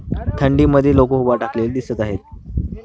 थंडीमध्ये लोकं उभा टाकलेली दिसत आहेत.